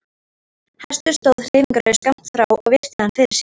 Hestur stóð hreyfingarlaus skammt frá og virti hann fyrir sér.